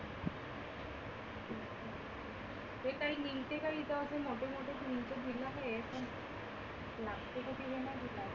ते काही मिळते का इथं असे मोठे मोठे दिलं का लागते का